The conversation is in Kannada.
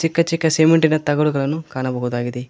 ಚಿಕ್ಕ ಚಿಕ್ಕ ಸಿಮೆಂಟಿನ ತಗಡುಗಳನ್ನು ಕಾಣಬಹುದಾಗಿದೆ.